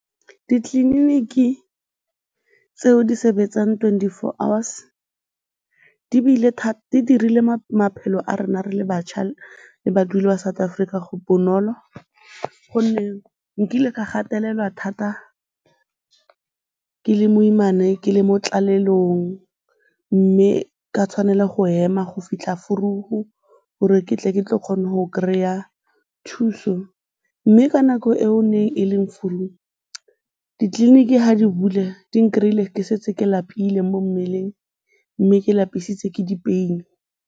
Ditleliniki tseo di sebetsang twenty-four hours di dirile maphelo a rona re le bašwa le ba South Afrika bonolo gonne nkile ka gatelelwa thata ke le moimana ke le mo tlalelong mme ka tshwanela go ema go fitlha vroeg-u gore ke tle ke tlo kgona go kry-a thuso mme ka nako eo neng e leng vroeg-u, ditleliniki ga di bula di n-kry-ile ke setse ke lapile mo mmeleng mme ke lapisitswe ke dipeini.